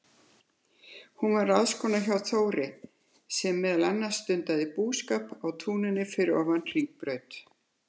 Hún var ráðskona hjá Þóri, sem meðal annars stundaði búskap á túninu fyrir ofan Hringbraut.